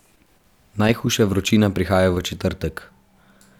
Najhujša vročina prihaja v četrtek.